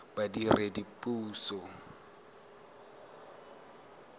badiredipuso